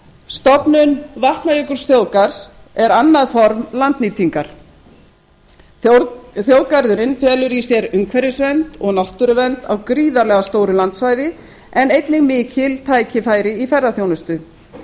stofnun vatnajökulsþjóðgarðs er annað form landnýtingar þjóðgarðurinn felur í sér umhverfisvernd og náttúruvernd á gríðarlega stóru landsvæði en einnig mikil tækifæri í ferðaþjónustu